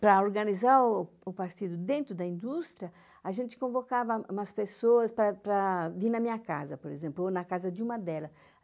Para organizar o partido dentro da indústria, a gente convocava umas pessoas para vir na minha casa, por exemplo, ou na casa de uma delas.